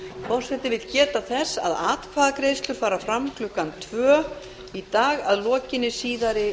forseti vill geta þess að atkvæðagreiðslur fara fram í dag að lokinni síðari utandagskrárumræðunni